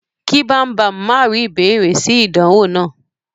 Ki Bambam ma ri ìbéèrè si ìdánwò náà.